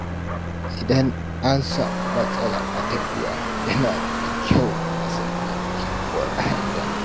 Idan an samu matsala a tafiya, yana da kyau a nemi sabuwar hanya.